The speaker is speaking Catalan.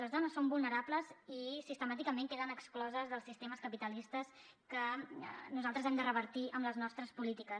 les dones són vulnerables i sistemàticament queden excloses dels sistemes capitalistes que nosaltres hem de revertir amb les nostres polítiques